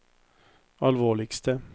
alvorligste